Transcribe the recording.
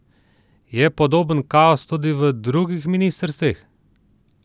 Je podoben kaos tudi v drugih ministrstvih?